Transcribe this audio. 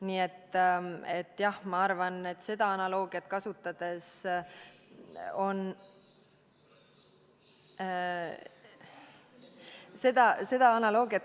Nii et jah, ma arvan, et seda analoogiat kasutades ...